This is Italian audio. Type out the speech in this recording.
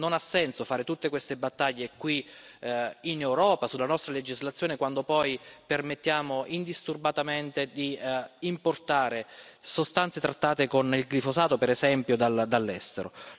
Non ha senso fare tutte queste battaglie qui in Europa, sulla nostra legislazione, quando poi permettiamo indisturbatamente di importare sostanze trattate con il glifosato, per esempio, dall'estero.